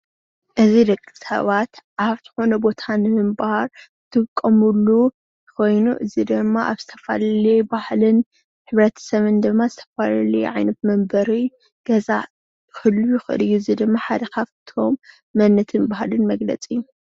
እዚ ደቂ ሰባት ኣብ ዝኮነ ቦታ ምንባር ዝጠቀምሉ ኮይኑ እዚ ድማ ኣብ ዝተፈላለዩ ባህልን ሕብረተሰብን ዝተፈላለዩ ዓየነት መንበሪ ገዛ ክህሉ ይክእል እዩ፡፡ እዚ ድማ ሓደ ካብ እቶም መንነትን ባህልን መግለፂ እዩ፡፡